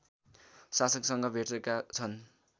शासकसँग भेटेका छन्